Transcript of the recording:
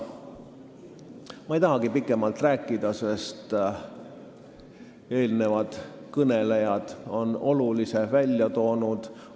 Ma ei tahagi pikemalt rääkida, sest eelnevad kõnelejad on olulise välja toonud.